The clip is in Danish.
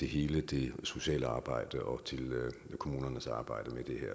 hele det sociale arbejde og kommunernes arbejde med det